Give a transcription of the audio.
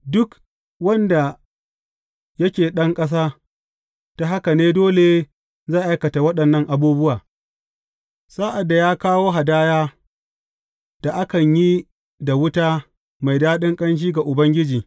Duk wanda yake ɗan ƙasa, ta haka ne dole zai aikata waɗannan abubuwa sa’ad da ya kawo hadaya da akan yi da wuta mai daɗin ƙanshi ga Ubangiji.